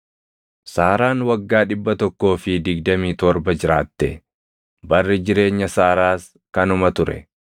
Saaraan waggaa dhibba tokkoo fi digdamii torba jiraatte; barri jireenya Saaraas kanuma ture.